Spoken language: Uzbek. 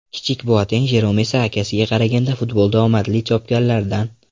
Kichik Boateng Jerom esa akasiga qaraganda futbolda omadi chopganlardan.